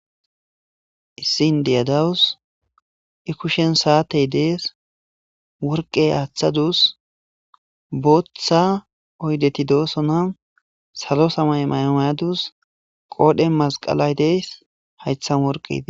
Issin diyadawus i kushen saatey dees worqey aaththadus booththa oydeti doosona salo samay maymayadus qoodhen masqalay dees haythan worqedi.